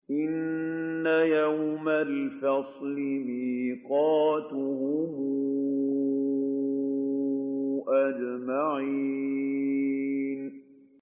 إِنَّ يَوْمَ الْفَصْلِ مِيقَاتُهُمْ أَجْمَعِينَ